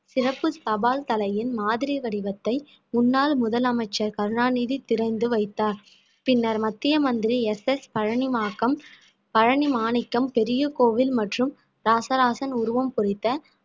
சிறப்பு தபால் தலையின் மாதிரி வடிவத்தை முன்னாள் முதலமைச்சர் கருணாநிதி திறந்து வைத்தார் பின்னர் மத்திய மந்திரி எஸ் எஸ் பழனிமாக்கம் பழனிமாணிக்கம் பெரிய கோவில் மற்றும் இராசராசன் உருவம் பொறித்த